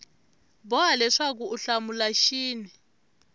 boha leswaku u hlamula xin